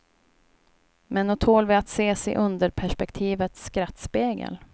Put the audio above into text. Men nog tål vi att ses i underperspektivets skrattspegel.